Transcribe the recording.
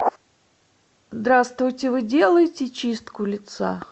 здравствуйте вы делаете чистку лица